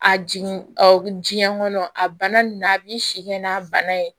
A jigin ɔ jiɲɛ kɔnɔ a bana a b'i si kɛ n'a bana ye